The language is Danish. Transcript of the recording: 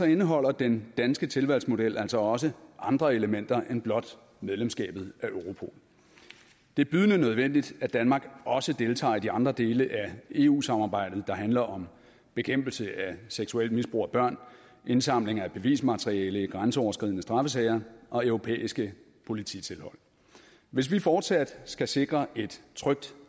indeholder den danske tilvalgsmodel altså også andre elementer end blot medlemskabet af europol det er bydende nødvendigt at danmark også deltager i de andre dele af eu samarbejdet der handler om bekæmpelse af seksuelt misbrug af børn indsamling af bevismateriale i grænseoverskridende straffesager og europæiske polititilhold hvis vi fortsat skal sikre et trygt